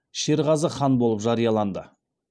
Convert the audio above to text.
шерғазы хан болып жарияланды